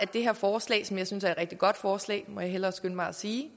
det her forslag som jeg synes er et rigtig godt forslag må jeg hellere skynde mig at sige